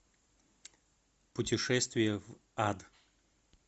путешествие в ад